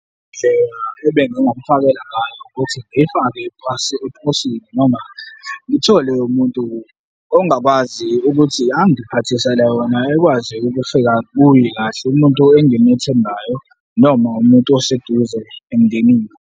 Indlela ebengingamufakela ngayo ukuthi ngiyifake eposini noma ngithole umuntu ongakwazi ukuthi angiphathisele yona, ekwazi ukufika kuye kahle, umuntu engimuthembayo noma umuntu oseduze emndenini.